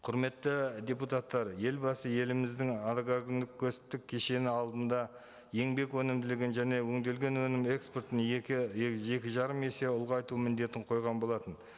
құрметті депутаттар елбасы еліміздің кешені алдында еңбек өнімділігін және өнделген өнім экспортын екі екі жарым есе ұлғайту міндетін қойған болатын